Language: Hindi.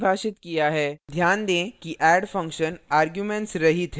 ध्यान दें कि add function arguments रहित है